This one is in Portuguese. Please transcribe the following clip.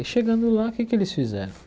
E chegando lá, o que é que eles fizeram?